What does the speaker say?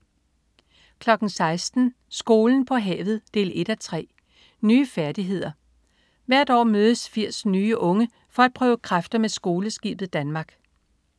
16.00 Skolen på havet 1:3. Nye færdigheder. Hvert år mødes 80 nye unge for at prøve kræfter med Skoleskibet Danmark